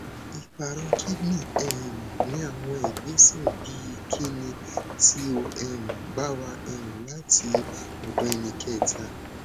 iparo kidney um ni awọn igbesẹ bii kini ti o um ba wa um lati ọdọ ẹnikẹta